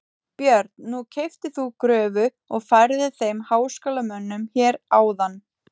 Björn: Nú keyptir þú gröfu og færðir þeim háskólamönnum hér áðan?